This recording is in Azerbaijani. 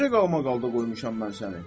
Necə qalmaqalda qoymuşam mən səni?